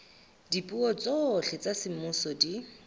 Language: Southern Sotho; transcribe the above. dipuo tsohle tsa semmuso di